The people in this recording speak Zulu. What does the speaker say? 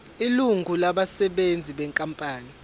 ilungu labasebenzi benkampani